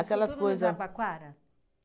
coisas... Isso tudo no Jabaquara?